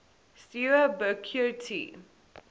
steaua bucure ti